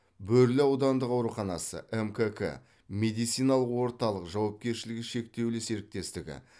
бөрлі аудандық ауруханасы мкк медициналық орталық жауапкершілігі шектеулі серіктестігі